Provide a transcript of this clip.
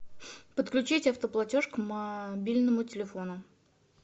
подключить автоплатеж к мобильному телефону